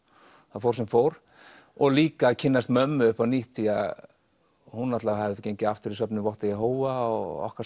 það fór sem fór og líka að kynnast mömmu upp á nýtt því hún hafði gengið aftur í söfnuð Votta Jehóva og okkar